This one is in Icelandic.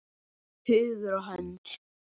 Hugur og hönd!